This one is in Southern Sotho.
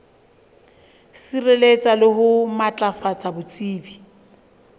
sireletsa le ho matlafatsa botsebi